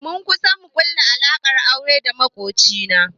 Mun kusa mu ƙulla alaƙar aure da maƙoci na